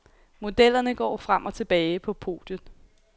Modellerne går frem og tilbage på podiet.